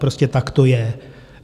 Prostě tak to je.